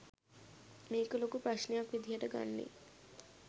මේක ලොකු ප්‍රශ්නයක් විදියට ගන්නේ